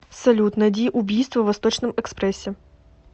салют найди убийство в восточном экспрессе